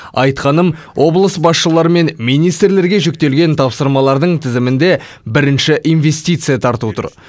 айтқаным облыс басшылары мен министрлерге жүктелген тапсырмалардың тізімінде бірінші инвестиция тарту тұр